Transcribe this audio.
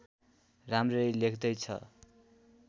राम्ररी लेख्दै छ